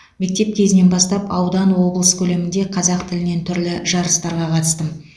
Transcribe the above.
мектеп кезінен бастап аудан облыс көлемінде қазақ тілінен түрлі жарыстарға қатыстым